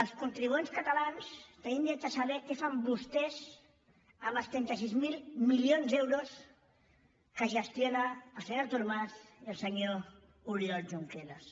els contribuents catalans tenim dret a saber què fan vostès amb els trenta sis mil milions d’euros que gestionen el senyor artur mas i el senyor oriol junqueras